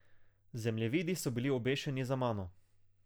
Zemljevidi so bili obešeni za mano.